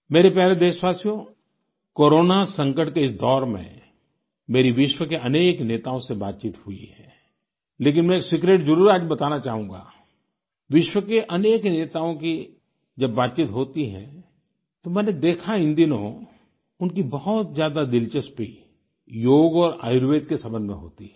मेरे प्यारे देशवासियो कोरोना संकट के इस दौर में मेरी विश्व के अनेक नेताओं से बातचीत हुई है लेकिन मैं एक सीक्रेट जरुर आज बताना चाहूँगा विश्व के अनेक नेताओं की जब बातचीत होती है तो मैंने देखा इन दिनों उनकी बहुत ज्यादा दिलचस्पी योग और आयुर्वेद के सम्बन्ध में होती है